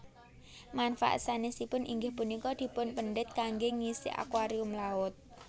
Manfaat sanèsipun inggih punika dipunpendhet kanggé ngisi akuarium laut